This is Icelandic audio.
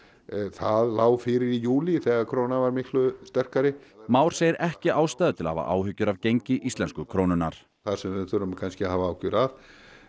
það lá fyrir í júlí þegar krónan var miklu sterkari Már segir ekki ástæðu til að hafa áhyggjur af gengi íslensku krónunnar það sem við þurfum kannski að hafa áhyggjur af